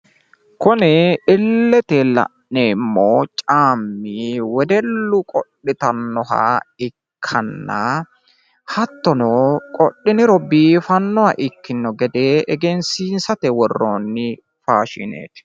Kuni illete la'neemmo caammi wedellu qodhitannoha ikkanna, hattono qodhiniro biifannoha ikkino gede egenssiisate worrooonni faashineeti.